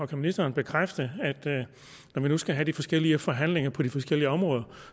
kan ministeren bekræfte at når vi nu skal have de forskellige forhandlinger på de forskellige områder